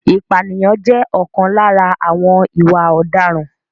Ìpànìyàn jẹ́ ọ̀kan lára àwọn ìwà ọ̀daràn.